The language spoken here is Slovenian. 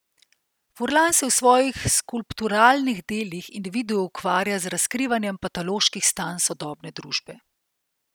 Furlan se v svojih skulpturalnih delih in videu ukvarja z razkrivanjem patoloških stanj sodobne družbe.